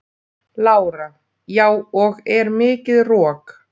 Lára: Já og er mikið rok?